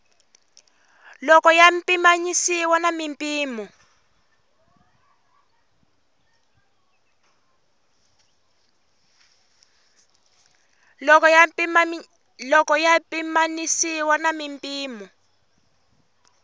loko ya pimanisiwa na mimpimo